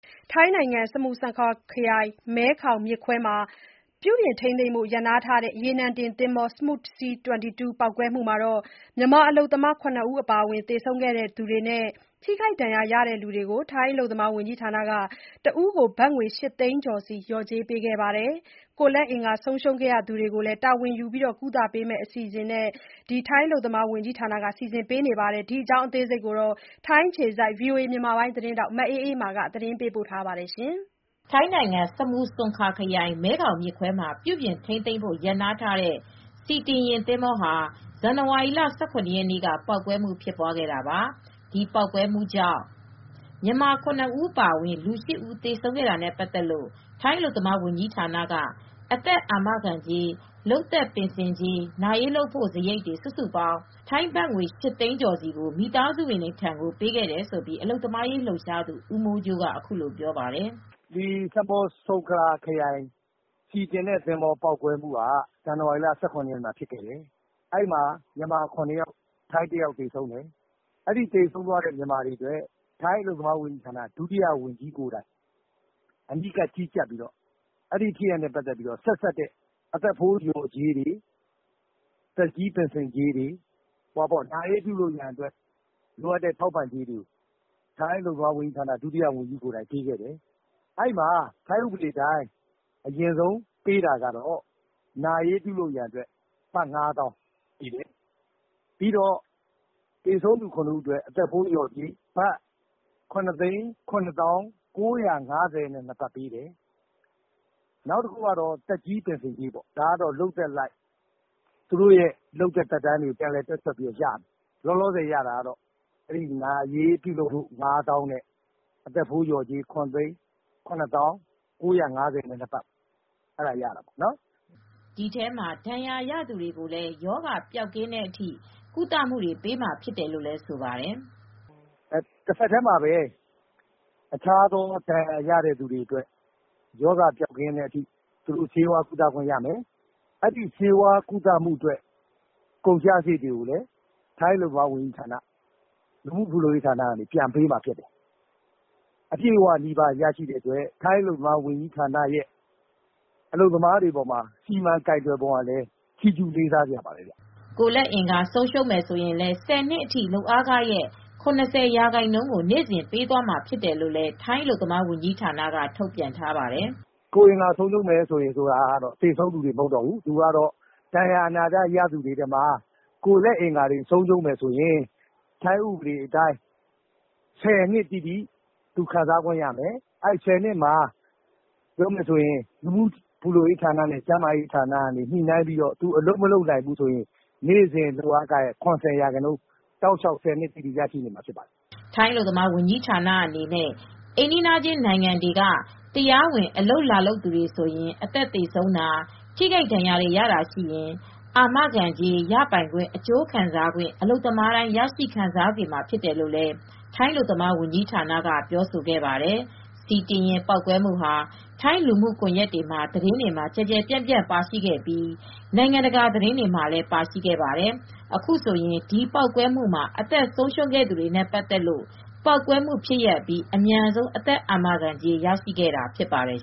ထိုင်းနိုင်ငံမှာ စမုဆွန်ခါခရိုင်၊ မဲခေါင်မြစ်ခွဲမှာ ပြုပြင်ထိန်းသိမ်းဖို့ရပ်နားထားတဲ့ ရေနံတင်သင်္ဘော Smooth Sea C22 ပေါက်ကွဲမှုမှာ မြန်မာအလုပ်သမား ၇ ယောက်အပါအဝင် သေဆုံးခဲ့သူတွေနဲ့ ထိခိုက်ဒဏ်ရာရသူတွေကို ထိုင်းအလုပ်သမားဝန်ကြီးဌာနက တယောက်ကို ဘတ်ငွေ ၈ သိန်းကျော်စီ လျော်ကြေးပေးခဲ့ပါတယ်။ ကိုယ်လက်အင်္ဂါဆုံးရှုံးခဲ့သူတွေကိုလည်း တာဝန်ယူကုသပေးမယ့် အစီအစဉ်အကြောင်း ထိုင်းအခြေစိုက်သတင်းထောက် မအေးအေးမာက တင်ပြထားပါတယ်။ ဇန်နဝါရီလ ၁၇ ရက်နေ့က Smooth Sea C22 ရေနံတင်ပေါက်ကွဲခဲ့တာကြောင့် မြန်မာအလုပ်သမား ၇ ဦး အပါအဝင် ၈ ဦးသေဆုံးခဲ့ပြီး၊ မြန်မာလုပ်သားတွေ ထိခိုက်ဒဏ်ရာတွေ ရခဲ့ကြပါတယ်။ သေဆုံးသူတွေအတွက် အသက်အာမခံကြေး၊ လုပ်သက်ပင်စင်နဲ့ နာရေးပြုလုပ်ဖို့ တယောက်ကို ဘတ်ငွေ ၈ သိန်းကျော်ကို ထိုင်းအလုပ်သမားဝန်ကြီးဌာနက ကျန်ရစ်သူ မိသားစုကို ပေးခဲ့ပါတယ်။ လျော်ကြေးပေးတာနဲ့ပါတ်သက်လို့ အလုပ်သမားရေးလှုပ်ရှားသူ ဦးမိုးကြိုးက အခုလိုပြောပါတယ်။ "ဆာမွတ်ဆုံခါခရိုင် ဆီတင်သင်္ဘောပေါက်ကွဲမူ့က ဇန်နဝါရီလ ၁၇ ရက်မှာဖြစ်ပွားခဲ့တယ် အဲဒီမှာ ထိုင်း အလုပ်သမား ၁ ယောက်နဲ့ မြန်မာ ၇ ယောက် သေဆုံးခဲ့တယ်၊ သေဆုံးတဲ့မြန်မာတွေအတွက် ထိုင်းအလုပ်သမားဝန်ကြီးဌာန ဒုဝန်ကြီးကိုယ်တိုင်အနီးကပ်ကြီးကြပ်ပြီး ဖြစ်ရပ်နဲ့ပတ်သက်တဲ့ အသက်ဖိုးလျော်ကြေးတွေ သက်ကြီးပင်စင်ကြေးတွေ နာရေးပြုလုပ်ဖို့အတွက် လိုအပ်တဲ့နစ်နာကြေးတွေပေးခဲ့တယ်။ နာရေးလုပ်ဖို့ အတွက် ဘတ် ၅ သောင်းပေးတယ်၊ အသက်ဖိုးလျော်ကြေးအဖြစ် ၇ဦးအတွက် တဦးကိုဘတ်ငွေ ၇၇၀၉၅၂ဘတ်ပေးတယ် နောက်တခုကတော့ သက်ကြီးပင်စင်ကြေးရတယ်။ ဒါကတော့သူတို့လုပ်သက်အလိုက်ရတယ်။ လုပ်သက်သက်တမ်းကို ပြန်လည်တွက်ချက်ပြီးရမယ် လောလောဆယ်ရတာကတော့ နာရေးလုပ်ဖို့ဘတ်၅သောင်းနဲ့ အသက်ဖိုးလျော်ကြေး ၇၇၀၉၅၂ ဘတ်အရင်ရမယ်" ရေနံတင်သင်္ဘော ပေါက်ကွဲမှုအတွင်း ထိခိုက်ဒဏ်ရာရသူတွေကိုလည်း ရောဂါပျောက်ကင်းတဲ့အထိ ကုသမူတွေပေးမှာဖြစ်တယ်လို့လည်း ပြောပါတယ်။ "တဆက်တည်း တခြားဒဏ်ရာရသူတွေအတွက် ရောဂါပျောက်ကင်းတဲ့အထိ ကုသစရိတ်တွေရမယ်၊ ဆေးဝါးကုသခွင့်ရမယ်။ ဒါကတော့ထိုင်းအလုပ်သမားဝန်ကြီးဌာနက လူမူဖူလုံရေးဌာနက ပြန်ပေးမှာဖြစ်ပါတယ်။ အပြည့်အဝနီးပါးရတဲ့အတွက် ထိုင်းအလုပ်သမားဝန်ကြီးဌာနက အလုပ်သမားတွေအတွက်စီမံကိုင်တွယ်တာက ချီးကျူးလေးစားစရာဖြစ်ပါတယ်" ကိုယ်လက်အင်္ဂါဆုံးရှုံးသူတွေကို ၁၀ နှစ်အထိ လုပ်အားခရဲ့ ၇၀% ကိုနေ့စဉ်ပေးသွားမှာဖြစ်တယ်လို့လည်း ထိုင်းအလုပ်သမားဝန်ကြီးဌာနက ထုတ်ပြန်ထားပါတယ်။ "ကိုယ်အင်္ဂါဆုံးရှုံးတာကတော့ သေဆုံးသူတွေ မဟုတ်တော့ဘူး၊ သူက ဒဏ်ရာအနာတရရတဲ့သူတွေထဲက ကိုယ်အင်္ဂါဆုံးရှုံးမယ်ဆိုရင် ထိုင်းဥပဒေအတိုင်း ၁၀နှစ်အထိ သူခံစားခွင့်ရမယ်။ လူမှုဖူလုံရေးဌာနနဲ့ကျန်းမာရေးဌာနက ညှိနှိုင်းပြီး သူက အလုပ်မလုပ်နိုင်တော့ဘူးဆိုရင် သူ့ လုပ်အားခရဲ့ ၇၀ ရာခိုင်နှုန်းကိုနေ့စဉ် ၁၀ နှစ်အထိ ရရှိသွားမှာဖြစ်ပါတယ်" ထိုင်းအလုပ်သမားဝန်ကြီးဌာနအနေနဲ့ အိမ်နီးနားချင်းနိုင်ငံတွေက တရားဝင်အလုပ်လာလုပ်သူတွေဆိုရင် အသက်သေဆုံးတာ ထိခိုက်ဒဏ်ရာရတာတွေရှိရင် အာမခံကြေး ရပိုင်ခွင့်အကျိုးခံစားခွင့် အလုပ်သမားသမားတိုင်း ရရှိခံစားစေမှာ ဖြစ်တယ်လို့လည်း ထိုင်းအလုပ်သမားဝန်ကြီးဌာနက ကပြောဆိုခဲ့ပါတယ်။ ဆီတင်ယာဉ်ပေါက်ကွဲမှုဟာ ထိုင်းလူမှုကွန်ရက်တွေသတင်းတွေမှာကျယ်ကျယ်ပြန့်ပြန့် ပါရှိခဲ့ပြီး နိုင်ငံတကာသတင်းတွေမှာလည်း ပါရှိခဲ့ပါတယ်။ အခုဆိုရင် ဒီပေါက်ကွဲမှုမှာအသက်ဆုံးရှုံးခဲ့သူတွေနဲ့ပတ်သက်လို့ ပေါက်ကွဲမူဖြစ်ခဲ့အပြီး အသက်အာမခံလျော်ကြေး မြန်မြန်ဆန်ဆန်ရရှိခဲ့ကြတာဖြစ်ပါတယ်